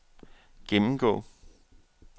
gennemgå